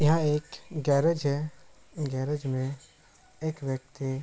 यहाँ एक गैरेज है गैरेज में एक व्यक्ति --